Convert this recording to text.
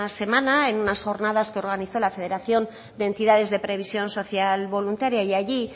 semana en unas jornadas que organizó la federación de entidades de previsión social voluntaria y allí